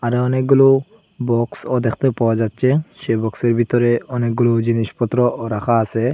এ অনেকগুলো বক্সও দ্যাখতে পাওয়া যাচ্চে সেই বক্সের ভিতরে অনেকগুলো জিনিসপত্রও রাখা আসে।